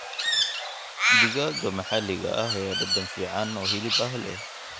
Digaagga maxalliga ah ayaa dhadhan fiican oo hilib ah leh.